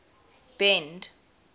bend